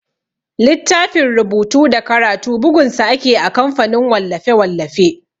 Littafin rubutu da karatu bugun sa ake a kamfanin wallafe-wallafe.